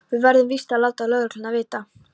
Við verðum víst að láta lögregluna vita.